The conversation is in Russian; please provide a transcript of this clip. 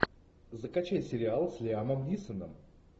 закачай сериал с лиамом нисоном